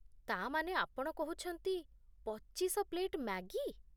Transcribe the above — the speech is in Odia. ତା' ମାନେ, ଆପଣ କହୁଛନ୍ତି, ପଚିଶ ପ୍ଲେଟ୍ ମ୍ୟାଗି?